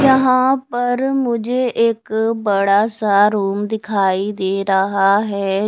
यहां पर मुझे एक बड़ा सा रूम दिखाई दे रहा है।